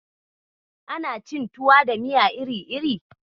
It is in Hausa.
Ana cin tuwa da miya iri-iri.